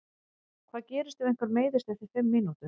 Hvað gerist ef einhver meiðist eftir fimm mínútur?